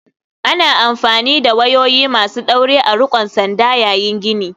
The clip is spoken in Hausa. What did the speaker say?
Ana amfani da wayoyi masu ɗaure a riƙon sanda yayin gini.